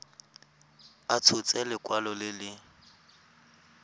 a tshotse lekwalo le le